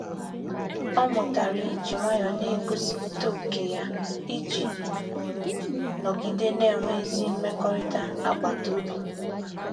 Ọ mụtara iji nwayọọ na-egosipụta ókè ya iji nọgide na-enwe ezi mmekọrịta agbata obi.